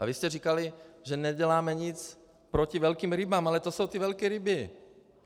A vy jste říkali, že neděláme nic proti velkým rybám, ale to jsou ty velké ryby.